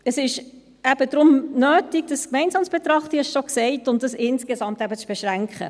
Deshalb ist es eben nötig, dies gemeinsam zu betrachten – ich habe das bereits gesagt – und es insgesamt eben zu beschränken.